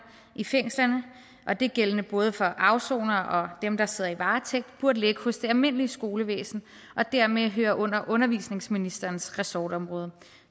i fængslerne og det er gældende for både afsonere og dem der sidder i varetægt burde ligge hos det almindelige skolevæsen og dermed høre under undervisningsministerens ressortområde